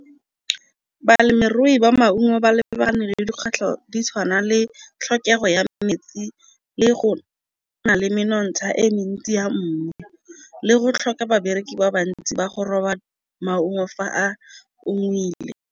Balemirui ba maungo ba lebane le dikgwetlho di tshwana le tlhokego ya metsi le go nale menontsha e mentsi ya mmu, le go tlhoka babereki ba bantsi ba go roba maungo fa a .